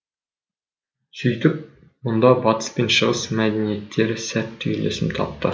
сөйтіп мұнда батыс пен шығыс мәдениеттері сәтті үйлесім тапты